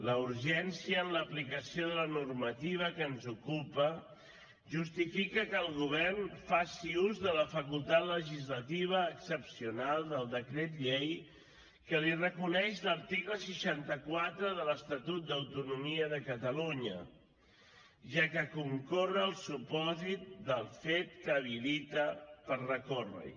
la urgència en l’aplicació de la normativa que ens ocupa justifica que el govern faci ús de la facultat legislativa excepcional del decret llei que li reconeix l’article seixanta quatre de l’estatut d’autonomia de catalunya ja que concorre el supòsit del fet que limita per recórrer hi